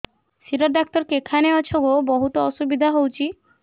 ଶିର doctor କେଖାନେ ଅଛେ ଗୋ ବହୁତ୍ ଅସୁବିଧା ହଉଚି